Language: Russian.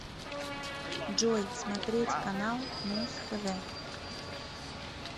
джой смотреть канал муз тв